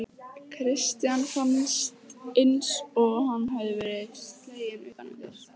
Christian fannst eins og hann hefði verið sleginn utan undir.